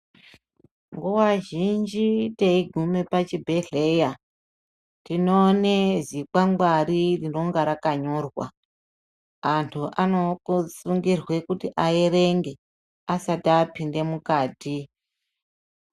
Nguva zhinji teiguma pachibhedhlera tinoona zikwangwari rinenge rakanyorwa antu anosungirwa kuti aerenge asati apinda mukati.